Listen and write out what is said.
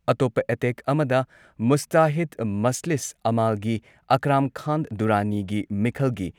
ꯑꯇꯣꯞꯄ ꯑꯦꯇꯦꯛ ꯑꯃꯗ ꯃꯨꯁꯇꯥꯍꯤꯗ ꯃꯖꯂꯤꯁ ꯑꯃꯥꯜꯒꯤ ꯑꯥꯀ꯭ꯔꯥꯝ ꯈꯥꯟ ꯗꯨꯔꯥꯅꯤꯒꯤ, ꯃꯤꯈꯜꯒꯤ